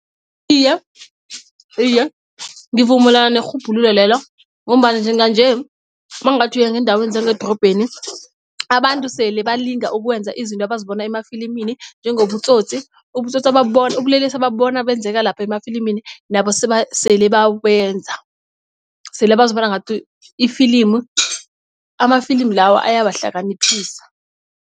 Iye, iye ngivumelana nerhubhululo lelo ngombana njenganje mawungathi uya ngeendaweni zangedorobheni abantu sele balinga ukwenza izinto abazibona emafilimini njengobutsotsi. Ubutsotsi babona ubulelesi ebabona benzeka lapha emafilimini nabo sele babenza sele bazibona ngathi ifilimu amafilimu lawa ayabahlakaniphisa.